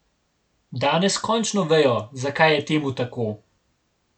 Danes končno vejo, zakaj je temu tako.